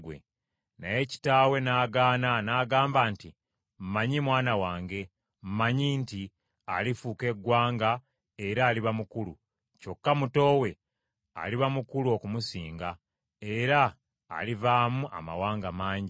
Naye kitaawe n’agaana n’agamba nti, “Mmanyi, mwana wange, mmanyi nti alifuuka eggwanga era aliba mukulu; kyokka muto we aliba mukulu okumusinga era alivaamu amawanga mangi.”